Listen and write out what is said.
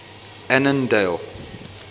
annandale